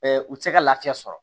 u tɛ se ka lafiya sɔrɔ